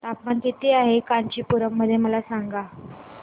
तापमान किती आहे कांचीपुरम मध्ये मला सांगा